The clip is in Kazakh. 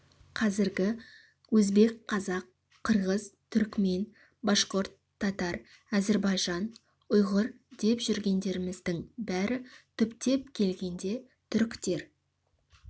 қазіргі өзбек қазақ қырғыз түрікмен башқұрт татар әзірбайжан ұйғыр деп жүргендеріміздің бәрі түптеп келгенде түріктер